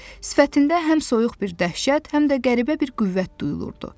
Sifətində həm soyuq bir dəhşət, həm də qəribə bir qüvvət duyulurdu.